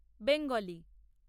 Bengali